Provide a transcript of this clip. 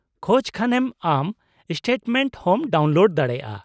- ᱠᱷᱚᱡ ᱠᱷᱟᱱᱮᱢ ᱟᱢ ᱥᱴᱮᱴᱢᱮᱱᱴ ᱦᱚᱢ ᱰᱟᱣᱩᱱᱞᱳᱰ ᱫᱟᱲᱮᱭᱟᱜᱼᱟ ᱾